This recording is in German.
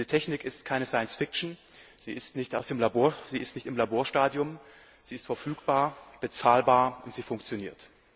Diese Technik ist keine Science Fiction, sie ist nicht aus dem Labor, sie ist nicht im Laborstadium, sie ist verfügbar, sie ist bezahlbar, und sie funktioniert.